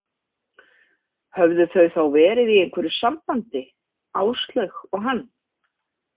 Höfðu þau þá verið í einhverju sambandi, Áslaug og hann?